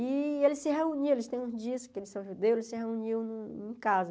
E eles se reuniam, eles têm uns dias que eles são judeus, eles se reuniam em em casa.